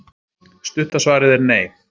Stutta svarið er nei.